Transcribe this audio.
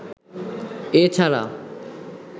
এ ছাড়া